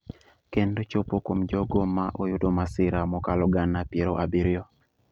kendo chopo kuom jogo ma oyudo masira mokalo gana piero abiriyo –